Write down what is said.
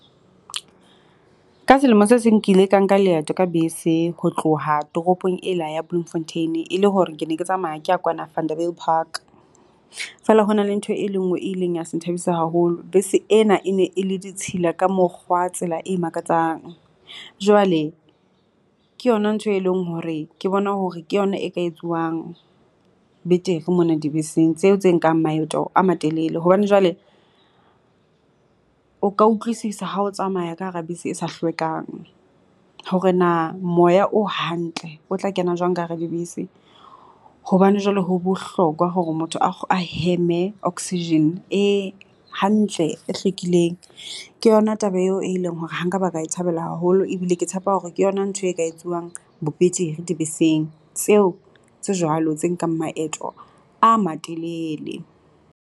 Ka selemo se seng ke ile ka nka leeto ka bese ho tloha toropong ela ya Bloemfontein, e le hore ke ne ke tsamaya ke ya kwana Vanderbijlpark. Feela ho na le ntho e le ngwe e leng ya se nthabise haholo. Bese ena e ne e le ditshila ka mokgwa tsela e makatsang, jwale ke yona ntho e leng hore ke bona hore ke yona e ka etsuwang betere mona dibeseng tseo tse nkang maeto a matelele. Hobane jwale o ka utlwisisa ha o tsamaya ka hara bese e sa hlwekang hore na moya o hantle o tla kena jwang ka hara dibese, hobane jwale ho bohlokwa hore motho a a heme oxygen e hantle, e hlwekileng. Ke yona taba eo e leng hore ha nkaba ka e thabela haholo ebile ke tshepa hore ke yona ntho e ka etsuwang bo betere dibeseng tseo tse jwalo tse nkang maeto a matelele.